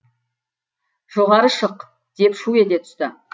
жоғары шық деп шу ете түсті